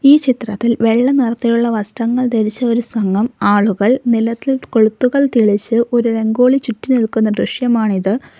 ഈ ചിത്രത്തിൽ വെള്ള നിറത്തിലുള്ള വസ്ത്രങ്ങൾ ധരിച്ച ഒരു സംഘം ആളുകൾ നിലത്ത് കൊളുത്തുകൾ തെളിച്ച് ഒരു രംഗോലി ചുറ്റി നിൽക്കുന്ന ദൃശ്യമാണിത്.